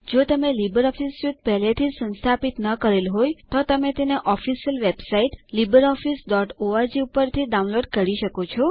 જો તમે LibreOffice suite પહેલે થી સંસ્થાપિત ન કરેલ હોય તો તમે તેની ઓફીસિયલ વેબસાઇટ httpwwwlibreofficeorg પરથી ડાઉનલોડ કરી શકો છો